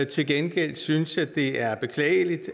til gengæld synes jeg det er beklageligt